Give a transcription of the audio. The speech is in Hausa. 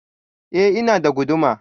I, ina da guduma.